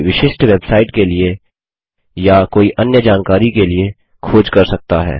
कोई विशिष्ट वेबसाइट के लिए या कोई अन्य जानकारी के लिए खोज कर सकता है